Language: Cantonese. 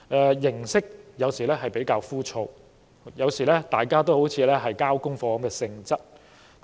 在形式上，有時候會真的比較枯燥，而且大家都好像是交功課般的參與。